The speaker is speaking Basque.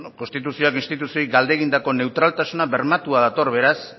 konstituzioak instituzioei galde egindako neutraltasuna bermatua dator beraz